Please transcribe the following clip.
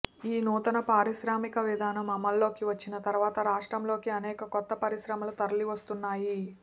ఈ నూతన పారిశ్రామిక విధానం అమలులోకి వచ్చిన తరువాత రాష్ట్రంలోకి అనేక కొత్త పరిశ్రమలు తరలి వస్తున్నాయి